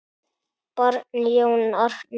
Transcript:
Barn: Jón Arnar.